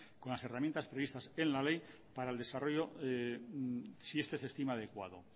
con las herramientas previstas en la ley para el desarrollo si este se estima adecuado